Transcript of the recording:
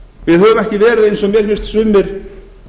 við höfum ekki verið eins og mér finnst sumir